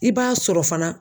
I b'a sɔrɔ fana